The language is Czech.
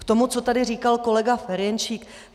K tomu, co tady říkal kolega Ferjenčík.